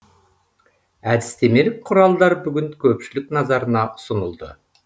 әдістемелік құралдар бүгін көпшілік назарына ұсынылды